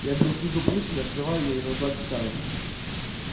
я беру книгу пришвина открываю её и наугад читаю